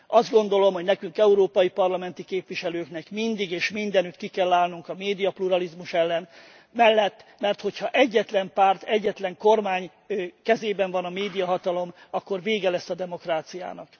Azt gondolom, hogy nekünk, európai parlamenti képviselőknek mindig és mindenütt ki kell állnunk a médiapluralizmus mellett, mert hogyha egyetlen párt, egyetlen kormány kezében van a médiahatalom, akkor vége lesz a demokráciának.